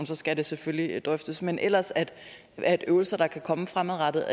så skal det selvfølgelig drøftes men ellers at øvelser der kan komme fremadrettet